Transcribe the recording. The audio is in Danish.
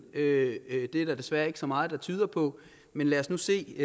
det er der desværre ikke så meget der tyder på men lad os nu se